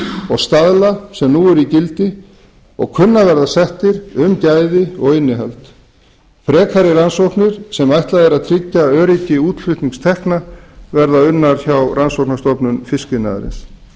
og staðla sem nú eru í gildi og kunna að verða settir um gæði þess og innihald frekari rannsóknir sem ætlað er að tryggja öryggi útflutningstekna verða unnar hjá rannsóknastofnun fiskiðnaðarins